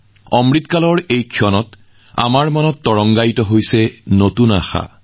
অমৃতকালত নতুন উদ্যম নতুন ঢৌ